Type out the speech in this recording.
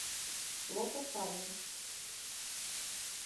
лотофаги